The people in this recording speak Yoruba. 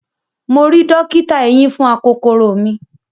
Mo ri dọ́kítà eyín fún akokoro mi.